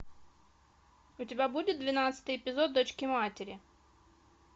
у тебя будет двенадцатый эпизод дочки матери